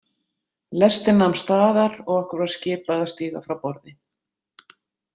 Lestin nam staðar og okkur var skipað að stíga frá borði.